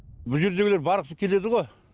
бұ жердегілер барғысы келеді ғой